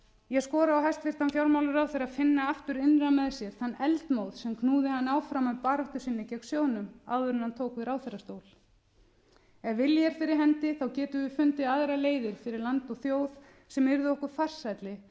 ég skora á hæstvirtan fjármálaráðherra að finna aftur innra með sér þann eldmóð sem knúði hann áfram í baráttu sinni gegn sjóðnum áður en hann tók við ráðherrastól ef vilji er fyrir hendi getum við fundið aðrar leiðir fyrir land og þjóð sem yrðu okkur farsælli